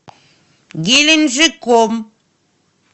геленджиком